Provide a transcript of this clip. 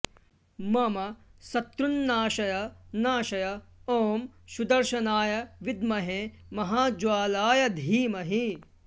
मम शत्रून्नाशय नाशय ॐ सुदर्शनाय विद्महे महाज्वालाय धीमहि